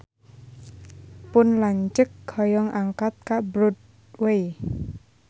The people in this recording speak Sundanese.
Pun lanceuk hoyong angkat ka Broadway